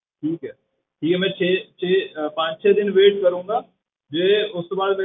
ਠੀਕ ਹੈ ਜੇ ਮੈਂ ਛੇ ਛੇ ਅਹ ਪੰਜ ਛੇ ਦਿਨ wait ਕਰਾਂਗਾ ਜੇ ਉਸ ਤੋਂ ਬਾਅਦ,